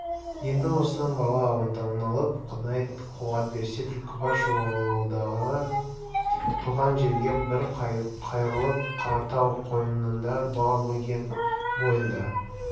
енді осыдан бала оңалып құдай қуат берсе түлкібас-жуалыдағы туған жерге бір қайырылып қаратау қойнында бала-бөген бойында